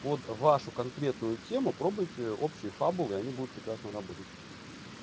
под вашу конкретную тему пробуйте общие фабулы и они будут прекрасно работать